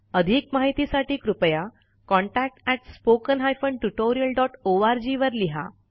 अधिक माहितीसाठी कृपया contactspoken tutorialorg वर लिहा